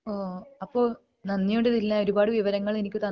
ആഹ് അപ്പൊ നന്ദി ഉണ്ട് ദിൽന ഒരുപാട് വിവരങ്ങൾ എനിക്ക് തന്നതിന്